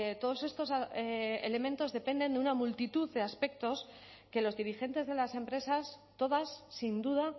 todos estos elementos dependen de una multitud de aspectos que los dirigentes de las empresas todas sin duda